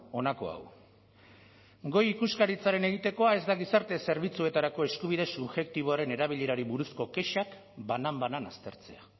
honako hau goi ikuskaritzaren egitekoa ez da gizarte zerbitzuetarako eskubide subjektiboaren erabilerari buruzko kexak banan banan aztertzea